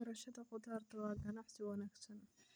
Beerashada khudaarta waa ganacsi wanaagsan.